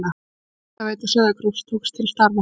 Hitaveita Sauðárkróks tók til starfa.